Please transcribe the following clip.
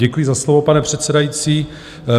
Děkuji za slovo, pane předsedající.